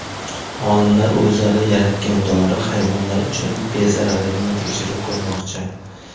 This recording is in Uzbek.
Olimlar o‘zlari yaratgan dori hayvonlar uchun bezararligini tekshirib ko‘rmoqchi.